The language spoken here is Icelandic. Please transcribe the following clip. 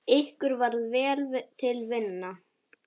Ykkur varð vel til vina.